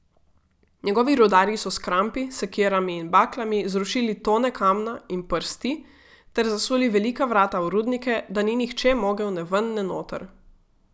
Njegovi rudarji so s krampi, sekirami in baklami zrušili tone kamna in prsti ter zasuli velika vrata v rudnike, da ni nihče mogel ne ven ne noter.